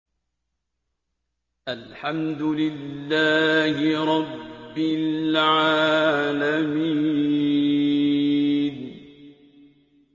الْحَمْدُ لِلَّهِ رَبِّ الْعَالَمِينَ